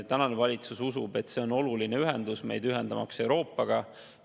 Praegune valitsus usub, et see on oluline ühendus, ühendamaks meid Euroopaga.